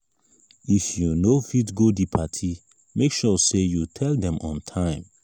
if you no fit go di party make sure say you tell dem on time